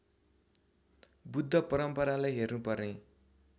बुद्ध परम्परालाई हेर्नुपर्ने